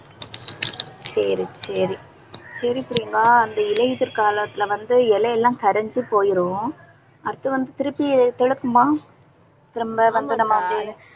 சரி சரி சரி பிரியங்கா அந்த இலையுதிர் காலத்துல வந்து, இலை எல்லாம் கரைஞ்சு போயிரும். அடுத்து வந்து, திருப்பி துலக்குமா திரும்ப வந்து நம்ம அப்படியே